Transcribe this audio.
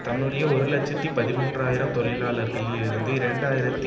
தன்னுடைய ஒரு இலட்சத்தி பதிமூன்று ஆயிரம் தொழிலாளர்களில் இருந்து இரண்டு ஆயிரத்தி